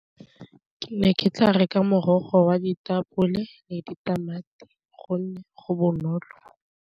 Ke ne ke tla reka morogo wa ditapole le ditamati gonne go bonolo.